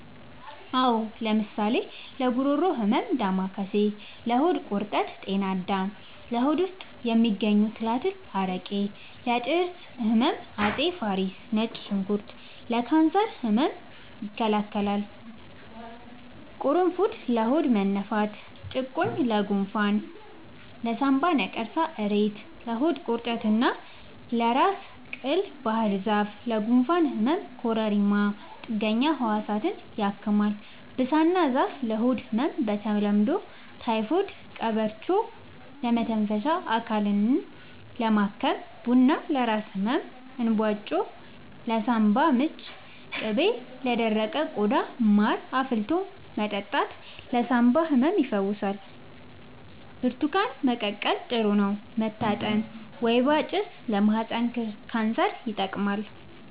አዎ ለምሳሌ ለጉሮሮ ህመም ዳማከሴ ለሆድ ቁርጠት ጤና አዳም ለሆድ ውስጥ የሚገኙ ትላትል አረቄ ለጥርስ ህመም አፄ ፋሪስ ነጭ ሽንኩርት ለካንሰር ህመም ይከላከላል ቁሩፉድ ለሆድ መነፋት ጭቁኝ ለጎንፋን ለሳንባ ነቀርሳ እሬት ለሆድ ቁርጠት እና ለራስ ቅል ባህርዛፍ ለጉንፋን ህመም ኮረሪማ ጥገኛ ህዋሳትን ያክማል ብሳና ዛፍ ለሆድ ህመም በተለምዶ ታይፎድ ቀበርቿ ለመተንፈሻ አካልን ለማከም ቡና ለራስ ህመም እንባጮ ለሳንባ ምች ቅቤ ለደረቀ ቆዳ ማር አፍልቶ መጠጣት ለሳንባ ህመም ይፈውሳል ብርቱካን መቀቀል ጥሩ ነው መታጠን ወይባ ጭስ ለማህፀን ካንሰር ይጠቅማል